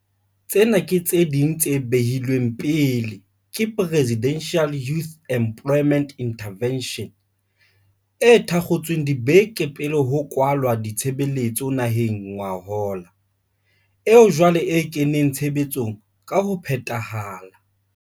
Tsena ke tse ding tse behilweng pele ke Presidential Youth Employment Intervention, e thakgotsweng dibeke pele ho kwalwa ditshebeletso naheng ngwahola, eo jwale e kenang tshebetsong ka ho phethahala.